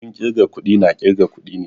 Abun kirga kuɗi na ƙirga kuɗi ne